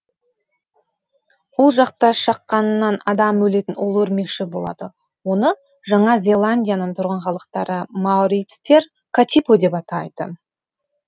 ол жақта шаққанынан адам өлетін улы өрмекші болады оны жаңа зеландияның тұрғын халықтары маорицтер катипо деп атайды